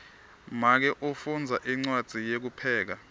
make ufundza incwadzi yekupheka